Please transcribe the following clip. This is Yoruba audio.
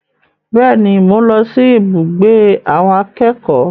Bẹ́ẹ̀ni, mò ń lọ sí ibùgbé àwọn akẹ́kọ̀ọ́.